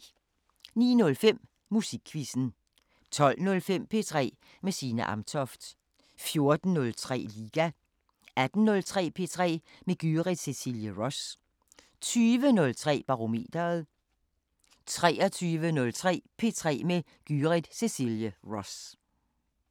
09:05: Musikquizzen 12:05: P3 med Signe Amtoft 14:03: Liga 18:03: P3 med Gyrith Cecilie Ross 20:03: Barometeret 23:03: P3 med Gyrith Cecilie Ross